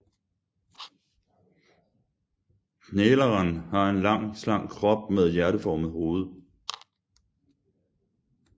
Knæleren har en lang slank krop med hjerteformet hoved